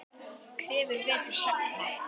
Krefur vetur sagna.